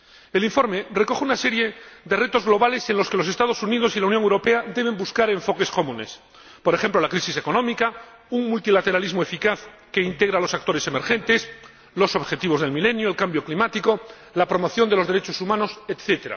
El informe recoge una serie de retos globales en los que los Estados Unidos y la Unión Europea deben buscar enfoques comunes por ejemplo, la crisis económica, un multilateralismo eficaz que integre a los actores emergentes, los objetivos del Milenio, el cambio climático, la promoción de los derechos humanos, etc.